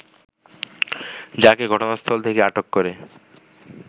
তাকে ঘটনাস্থল থেকে আটক করে